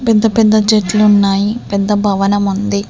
పెద్ద పెద్ద చెట్లున్నాయి పెద్ద భవనము ఉంది.